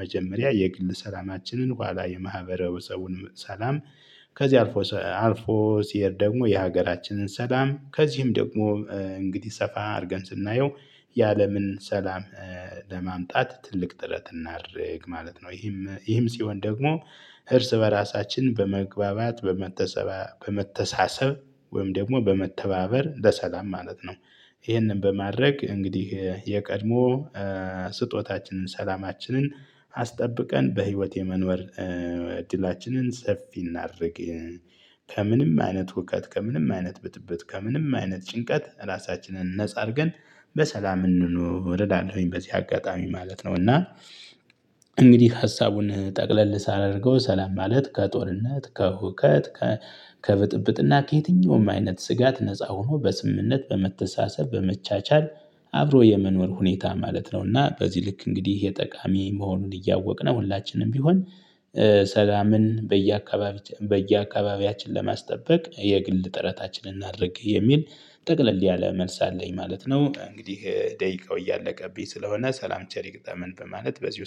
መጀመሪያ የግል ሰላማችንን ኋላ የማህበረ ሰውን ሰላም። ከዚህ አልፎ አልፎ ሲሄድ ደግሞ የሀገራችንን ሰላም ከዚህም ደግሞ እንግዲህ ሰፋ አድርገን ስናየው ያለምን ሰላም ለማምጣት ትልቅ ጥረት እናድርግ ማለት ነው። ይህም ይህም ሲሆን ደግሞ ህርስ በራሳችን በመግባባት በመተሳሰብ ወይም ደግሞ በመተባበር ለሰላም ማለት ነው። ይህንን በማድረግ እንግዲህ የቀድሞ ስጦታችንን ሰላማችንን አስጠብቀን በህይወት የመኖር እድላችንን ሰፊ እናድርግ። ከምንም አይነት ሁከት ከምንም አይነት ብጥብጥ ከምንም አይነት ጭንቀት ራሳችንን ነፃ አድርገን በሰላም እንኑር እላለሁኝ። ኚሐበዚህ አጋጣሚ ማለት ነው እና። እንግዲህ ሀሳቡን ጠቅለል ሳላደርገው ሰላም ማለት ከጦርነት ከሁከት ከብጥብጥና ከየትኛውም አይነት ስጋት ነፃ ሆኖ በስምምነት በመተሳሰብ በመቻቻል አብሮ የመኖር ሁኔታ ማለት እና በዚህ ልክ እንግዲህ የጠቃሚ መሆኑን እያወቅን ነው ሁላችንም ቢሆን ሰላምን በየአካባቢት በየአካባቢያችን ለማስጠበቅ የግል ጥረታችንን እናድርግ የሚል ጠቅለል ያለ መልስ አለኝ ማለት ነው። እንግዲህ ደቂቃው እያለቀብኝ ስለሆነ ሰላም ቸሪ ግጠምን በማለት በዚህ